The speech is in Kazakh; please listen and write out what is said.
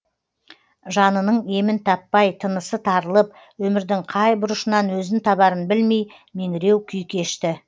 жанының емін таппай тынысы тарылып өмірдің қай бұрышынан өзін табарын білмей меңіреу күй кешті